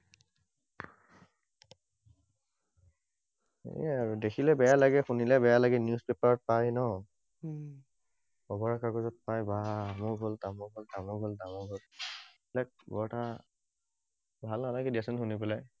এইয়াই আৰু দেখিলে বেয়া লাগে, শুনিলে বেয়া লাগে। News paper ত পায় ন? খবৰ কাগজত পায়, বাহ্, অমুক হল, তমুক হল, তমুক হল, তমুক হল, এইবিলাক বৰ এটা ভাল নালাগে দিয়াচোন শুনি পেলায়।